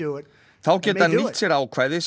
þá geti hann nýtt sér ákvæði sem